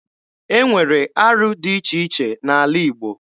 E nwere arụ dị iche iche n'ala Igbo.